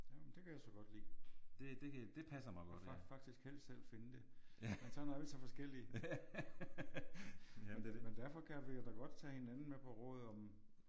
Jo men det kan jeg så godt lide. Faktisk helst selv finde det men sådan er vi så forskellige. Men derfor kan vi jo da godt tage hinanden med på råd om